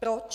Proč?